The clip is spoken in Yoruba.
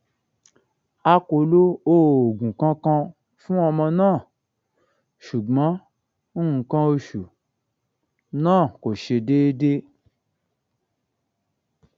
a kò lo oògùn kankan fún ọmọ náà ṣùgbọn nǹkan oṣù náà kò ṣe déédé